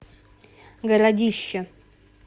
городище